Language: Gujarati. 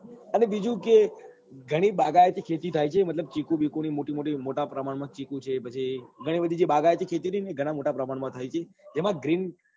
અને બીજું કે ગણી બાગાયતી ખેતી થાય છે મતલબ ચીકુ બીકુ ની મોટી મોટી મોટા પ્રમાણ માં ચીકુ છે પછી ગણી બધી જે બાગાયતી ખેતી છે ને ગણ મોટા પ્રમાણ મમા થાય છે જેમાં green